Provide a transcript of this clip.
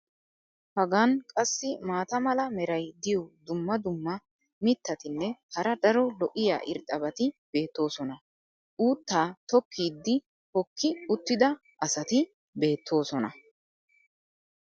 Hagan qassi maata mala meray diyo dumma dumma mitatinne hara daro lo'iya irxxabati beetoosona. uuttaa tokkiidi hookki uttida asati beetoosona.